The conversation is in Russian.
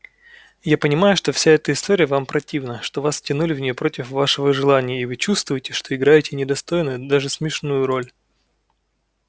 я понимаю что вся эта история вам противна что вас втянули в нее против вашего желания и вы чувствуете что играете недостойную и даже смешную роль